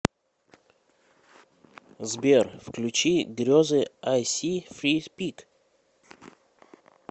сбер включи грезы айсифрипик